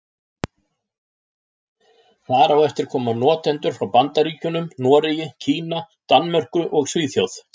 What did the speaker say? Þar á eftir koma notendur frá Bandaríkjunum, Noregi, Kína, Danmörku og Svíþjóð.